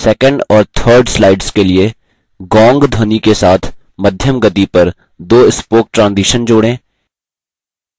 2nd और 3rd slides के लिए gong ध्वनि के साथ मध्यम गति पर 2 spoke transition जोड़ें